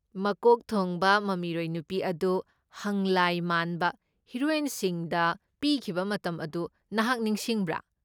ꯃꯀꯣꯛ ꯊꯣꯡꯕ ꯃꯃꯤꯔꯣꯏ ꯅꯨꯄꯤ ꯑꯗꯨ ꯍꯪꯂꯥꯏ ꯃꯥꯟꯕ ꯍꯤꯔꯣꯏꯟꯁꯤꯡꯗ ꯄꯤꯈꯤꯕ ꯃꯇꯝ ꯑꯗꯨ ꯅꯍꯥꯛ ꯅꯤꯡꯁꯤꯡꯕ꯭ꯔꯥ?